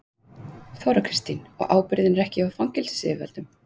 Þóra Kristín: Og ábyrgðin er ekki hjá fangelsisyfirvöldum?